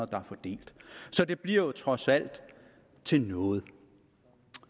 der er fordelt så det bliver jo trods alt til noget